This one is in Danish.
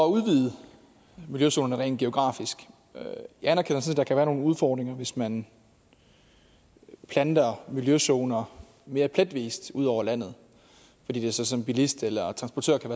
udvide miljøzonerne rent geografisk jeg anerkender sådan kan være nogle udfordringer hvis man planter miljøzoner mere pletvis ud over landet fordi det så som bilist eller transportør kan